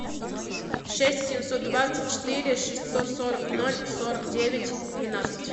шесть семьсот двадцать четыре шестьсот сорок ноль сорок девять двенадцать